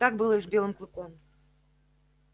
так было и с белым клыком